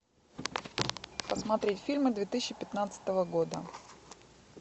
посмотреть фильмы две тысячи пятнадцатого года